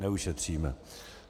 Neušetříme.